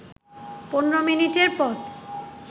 ১৫ মিনিটের পথ